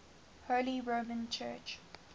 holy roman church